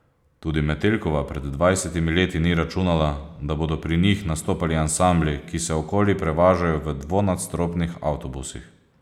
Tudi Metelkova pred dvajsetimi leti ni računala, da bodo pri njih nastopali ansambli, ki se okoli prevažajo v dvonadstropnih avtobusih.